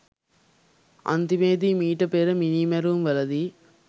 අන්තිමේදී මීට පෙර මිනී මැරුම් වලදී